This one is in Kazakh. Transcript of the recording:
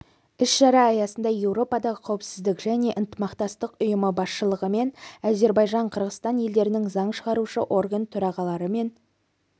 іс-шара аясында еуропадағы қауіпсіздік және ынтымақтастық ұйымы басшылығымен зербайжан қырғызстан елдерінің заң шығарушы орган төрағаларымен